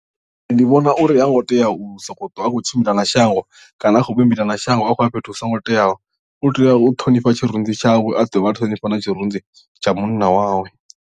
Ndi vhona uri ha ngo tea u sokou twa a khou tshimbila na shango kana a tshi khou vhumbila na shango a khou ya fhethu hu songo teaho u tea u ṱhonifha tshirunzi tshawe a dovha a ṱhonifha na tshirunzi tsha munna wawe.